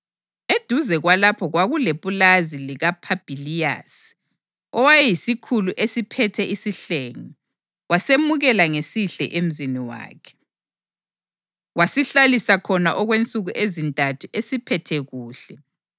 Eduze kwalapho kwakulepulazi likaPhabhiliyasi, owayeyisikhulu esiphethe isihlenge. Wasemukela ngesihle emzini wakhe, wasihlalisa khona okwensuku ezintathu esiphethe kuhle.